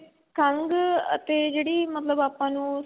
ਖੰਗ ਅਤੇ ਜਿਹੜੀ ਮਤਲਬ ਆਪਾਂ ਨੂੰ